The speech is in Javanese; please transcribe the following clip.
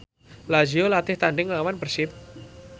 Lazio latih tandhing nglawan Persib